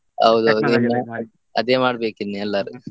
ಇನ್ನ ಅದೇ ಮಡ್ಬೇಕು ಇನ್ನು ಎಲ್ಲರೂ.